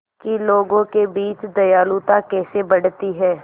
कि लोगों के बीच दयालुता कैसे बढ़ती है